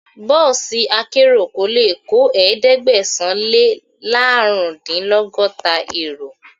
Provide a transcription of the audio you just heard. Bọ́ọ̀sì akérò kò lè kó ẹ̀ẹ́dẹ́gbẹ̀sán - lé -lárùndínlọ́gọ́ta èrò.